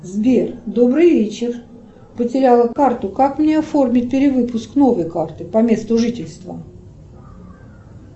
сбер добрый вечер потеряла карту как мне оформить перевыпуск новой карты по месту жительства